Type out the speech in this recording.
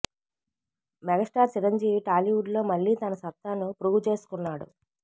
megastar Chiranjeevi Tollywood లో మళ్ళీ తన సత్తా ను ప్రూవ్ చేసుకున్నాడు